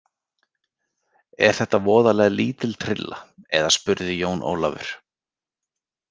Er þetta voðalega lítil trylla, eða spurði Jón Ólafur.